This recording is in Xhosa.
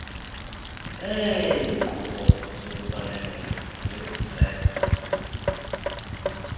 beeenkqubo zokubonelela ngeziseko